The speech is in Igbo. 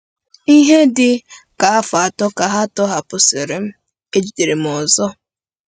Ihe dị ka afọ atọ ka a tọhapụsịrị m, e jidere m ọzọ.